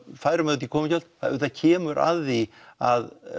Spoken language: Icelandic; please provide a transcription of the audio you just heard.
færum út í komugjöld auðvitað kemur að því að